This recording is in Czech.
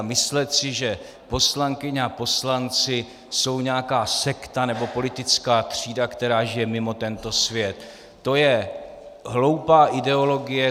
A myslet si, že poslankyně a poslanci jsou nějaká sekta nebo politická třída, která žije mimo tento svět, to je hloupá ideologie.